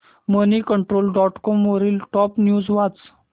Moneycontrol dot com वरील top news वाच